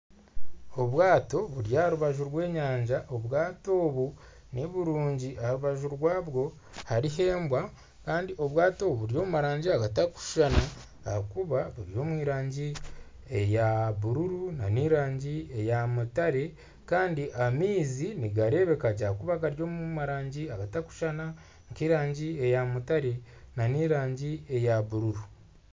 Obwaato buri aha rubaju rw'enyanja, obwaato obu niburungi aha rubaju rwaabo hariho embwa kandi obwaato obu buri omu rangi zitakushushana aha kuba buri omu rangi eya bururu n'erangi eya mutare kandi amaizi nigareebeka gye ahakuba gari omu rangi etakushuushana nka erangi ya mutare n'erangi ya bururu.